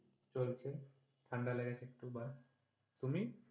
চলছে ঠান্ডা লেগেছে দুবার, তুমি?